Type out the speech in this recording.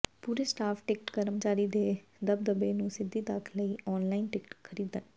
ਪੂਰੇ staff ticket ਕਰਮਚਾਰੀ ਦੇ ਦਬਦਬੇ ਨੂੰ ਸਿੱਧੀ ਤੱਕ ਲਈ ਆਨਲਾਈਨ ਟਿਕਟ ਖਰੀਦਣ